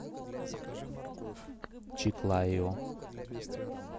чиклайо